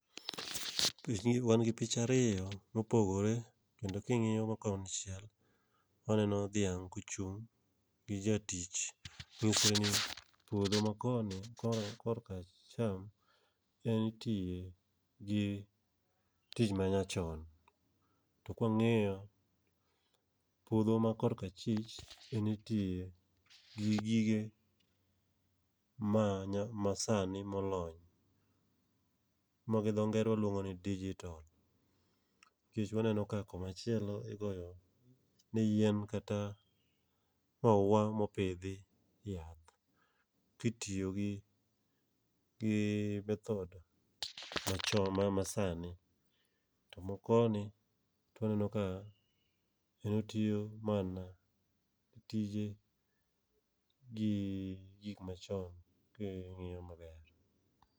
Pich gi wan gi pich ariyo mopogore, kendo king'iyo go konchiel waneno dhiang' kochung' gi jatich. Mang'isore ni puodho ma koni ko korka acham en itiye gi tich ma nyachon. To kwang'iyo puodho ma korka chich, en itiye gi gige ma nya masani molony. Ma gi dho ngere waluongo ni digital. Kech waneno ka koma chielo igoyo ne yien kata maua mopidhi yath, kitiyo gi method ma cho ma sani. To makoni to waneno ka en otiyo mana tije gi gik machon king'iyo maber.